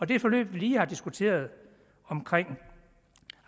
det forløb vi lige har diskuteret omkring